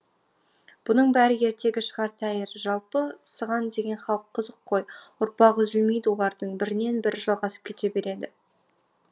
бұның бәрі ертегі шығар тәйірі жалпы сыған деген халық қызық қой ұрпағы үзілмейді олардың бірінен бірі жалғасып кете береді